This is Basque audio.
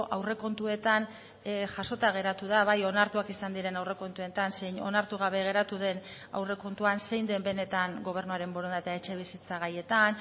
aurrekontuetan jasota geratu da bai onartuak izan diren aurrekontuetan zein onartu gabe geratu den aurrekontuan zein den benetan gobernuaren borondatea etxebizitza gaietan